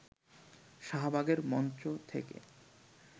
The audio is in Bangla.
শাহবাগের মঞ্চ থেকে